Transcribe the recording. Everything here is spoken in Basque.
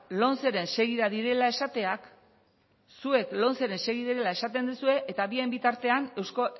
lomceren segida direla esatea zuek lomceren segida direla esaten dezue eta bitartean